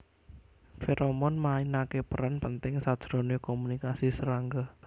Feromon mainake peran penting sajrone komunikasi serangga